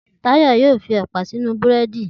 Tayo yóò fi ẹ̀pà sínú búrẹ́dì.